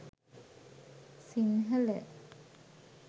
sinhala